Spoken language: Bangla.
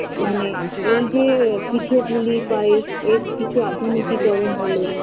মানে এইযে পিঠে পুলি পায়েস এর কিছু আধুনিকীকরণ হলো